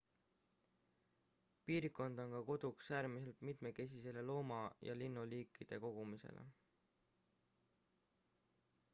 piirkond on ka koduks äärmiselt mitmekesisele looma ja linnuliikide kogumile